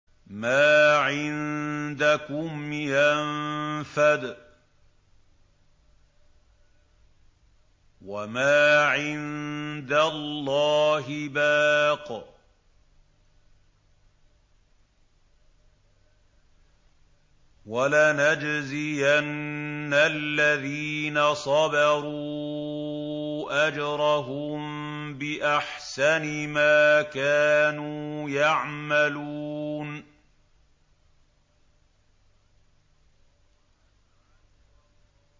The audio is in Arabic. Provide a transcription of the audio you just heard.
مَا عِندَكُمْ يَنفَدُ ۖ وَمَا عِندَ اللَّهِ بَاقٍ ۗ وَلَنَجْزِيَنَّ الَّذِينَ صَبَرُوا أَجْرَهُم بِأَحْسَنِ مَا كَانُوا يَعْمَلُونَ